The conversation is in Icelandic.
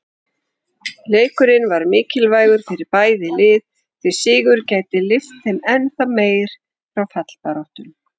Leikurinn var mikilvægur fyrir bæði lið, því sigur gæti lyft þeim ennþá meir frá fallbaráttunni.